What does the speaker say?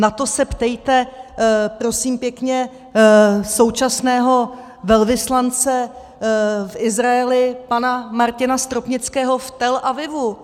Na to se ptejte, prosím pěkně, současného velvyslance v Izraeli, pana Martina Stropnického v Tel Avivu.